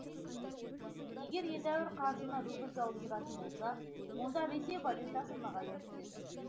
егер едәуір қаржыны рубльге ауыстыратын болса онда ресей валютасы нығая түседі